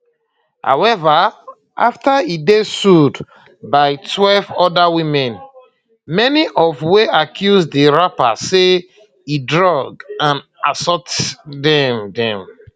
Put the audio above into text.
however afta e dey sued by12 oda women many of wey accuse di rapper say e drug and assault dem dem